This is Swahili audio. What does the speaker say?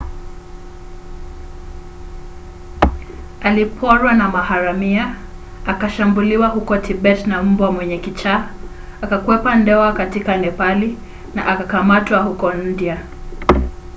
aliporwa na maharamia akashambuliwa huko tibeti na mbwa mwenye kichaa akakwepa ndoa katika nepali na akakamatwa huko india